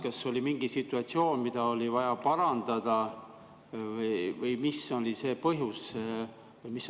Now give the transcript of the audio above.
Kas oli mingi situatsioon, mida oli vaja parandada, või mis oli see põhjus?